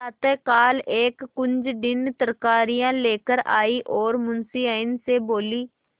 प्रातःकाल एक कुंजड़िन तरकारियॉँ लेकर आयी और मुंशियाइन से बोली